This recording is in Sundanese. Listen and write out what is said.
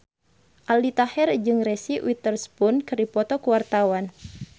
Aldi Taher jeung Reese Witherspoon keur dipoto ku wartawan